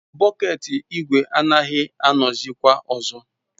Bọket ígwè agaghị anọzikwa ọzọ.